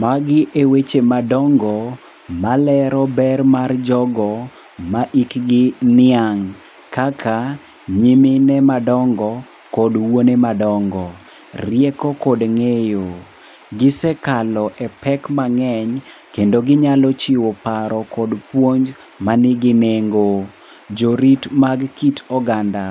Magi eweche madongo malero ber mar jogo ma hikgi oniang' kaka nyimine madongo kod wuone madongo. Rieko kod ng'eyo. Gisekalo e pek mang'eny kendo ginyalo chiwo paro kod puonj manigi nengo. Jorit mag kit oganda.